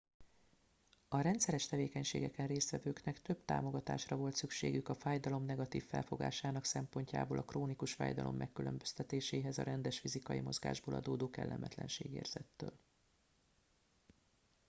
a rendszeres tevékenységeken résztvevőknek több támogatásra volt szükségük a fájdalom negatív felfogásának szempontjából a krónikus fájdalom megkülönböztetéséhez a rendes fizikai mozgásból adódó kellemetlenségérzettől